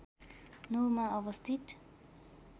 ९ मा अवस्थित